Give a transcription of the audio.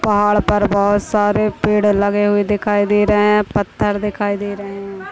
पहाड़ पर बोहत सारे पेड़ लगे हुए दिखाई दे रहे पत्थर दिखाई दे रहे है।